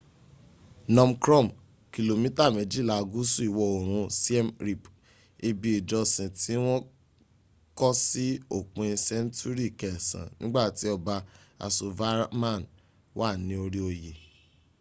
phnom krom kìlómítà méjìlà gúsù ìwọ ̀oòrun siem reap. ibi ìjọsìn tí wọ́n kọ́ sí òpin sẹńtúrì kẹsan nígbàtí ọba yasovarman wà ní orí oy